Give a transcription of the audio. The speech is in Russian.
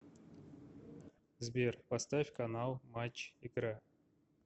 сбер поставь канал матч игра